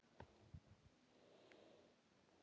Þær krefja félagið um svör.